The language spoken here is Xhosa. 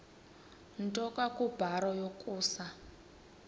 nto kubarrow yokusa